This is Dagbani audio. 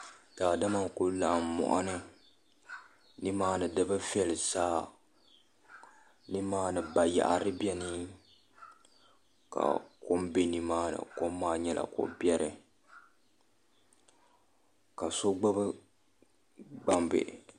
Daadama n ku laɣam moɣani nimaani di bi viɛli zaa nimaani bayaɣari biɛni ka kom bɛ nimaani kom maa nyɛla ko biɛri ka so gbubi gbambihi